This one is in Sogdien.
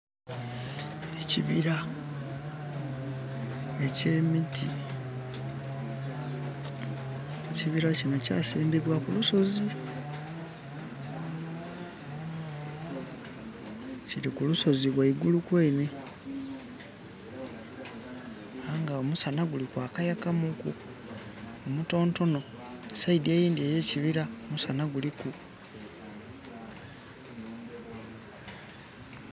Ekibira ekye miti. Ekibira kino kya simbibwa ku lusozi. Kiri kulusozi waigulu kwene aye nga omusana guli gwakayakamuku omutonotono. Ku saidi eyindi eye kibira omusana guliku